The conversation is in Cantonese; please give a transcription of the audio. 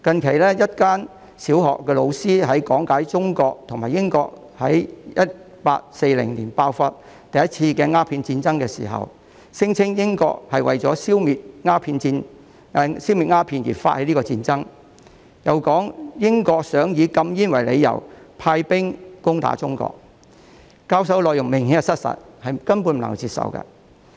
最近，一間小學的老師在講解中英兩國於1840年爆發第一次鴉片戰爭時，聲稱英國為了消滅鴉片而發起這次戰爭，又說英國想以禁煙為由，派兵攻打中國，所教授的內容明顯失實，根本不能接受。